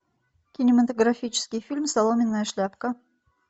кинематографический фильм соломенная шляпка